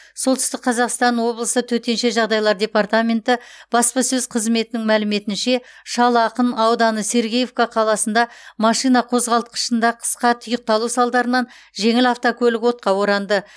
солтүстік қазақстан облысы төтенше жағдайлар департаменті баспасөз қызметінің мәліметінше шал ақын ауданы сергеевка қаласында машина қозғалтқышында қысқа тұйықталу салдарынан жеңіл автокөлік отқа оранды